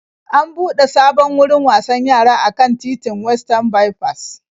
An buɗe sabon wurin wasan yara a kan titin Westan Baifas.